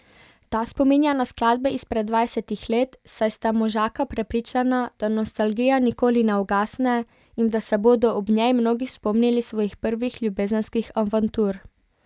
Ta spominja na skladbe izpred dvajsetih let, saj sta možaka prepričana, da nostalgija nikoli ne ugasne, in da se bodo ob njej mnogi spomnili svojih prvih ljubezenskih avantur.